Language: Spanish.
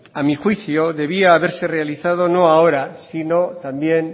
a mi juicio debía haberse realizado no ahora sino también